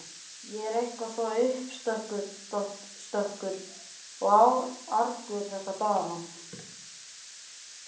Ég er eitthvað svo uppstökkur og argur þessa dagana.